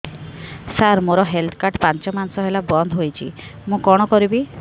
ସାର ମୋର health card ପାଞ୍ଚ ମାସ ହେଲା ବଂଦ ହୋଇଛି ମୁଁ କଣ କରିବି